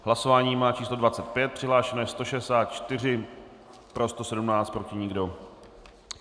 Hlasování má číslo 25, přihlášeno je 164, pro 117, proti nikdo.